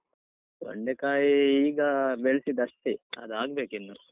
ತೊಂಡೆಕಾಯಿ ಈಗ ಬೆಳ್ಸಿದ್ದಷ್ಟೆ ಅದಾಗ್ಬೇಕಿನ್ನು.